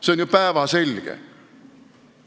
See on ju päevselge!